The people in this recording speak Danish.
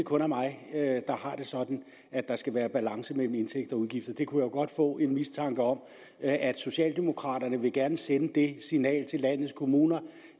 kun er mig der har det sådan at der skal være balance mellem indtægter og udgifter jeg kunne godt få en mistanke om at socialdemokraterne gerne vil sende det signal til landets kommuner